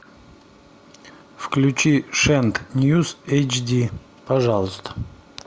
включи шент ньюз эйч ди пожалуйста